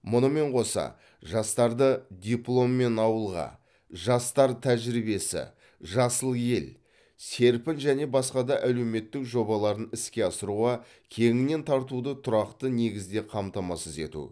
мұнымен қоса жастарды дипломмен ауылға жастар тәжірибесі жасыл ел серпін және басқа да әлеуметтік жобаларын іске асыруға кеңінен тартуды тұрақты негізде қамтамасыз ету